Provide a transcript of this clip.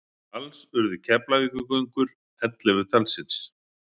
Alls urðu Keflavíkurgöngur ellefu talsins.